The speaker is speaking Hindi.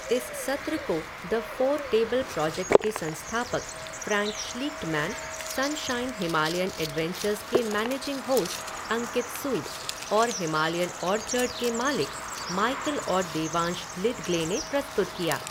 इस सत्र को द फ़ोर टेबल प्रोजेक्ट के संस्थापक Frank Schlichtmann, Sunshine Himalayan Adventures के मैनेजिंग होस्ट अंकित सूद और हिमालयन ऑर्चर्ड के मालिक माइकल और देवांश लिद्गले ने प्रस्तुत किया।